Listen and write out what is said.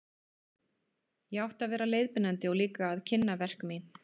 Ég átti að vera leiðbeinandi og líka að kynna verk mín.